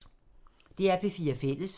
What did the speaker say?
DR P4 Fælles